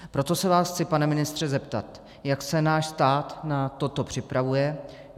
Proto se vás chci, pane ministře, zeptat, jak se náš stát na toto připravuje.